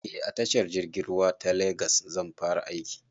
Eh a tashar jirgin ruwa ta legas zan fara aiki